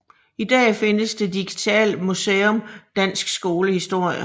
I dag findes det digitale museum Dansk Skolehistorie